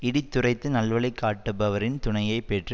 இடித்துரைத்து நல்வழி காட்டுபவரின் துணையை பெற்று